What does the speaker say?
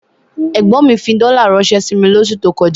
Ẹ̀gbọ́n mi fi dọ́là ránṣẹ́ sí mi lóṣù tó kọjá.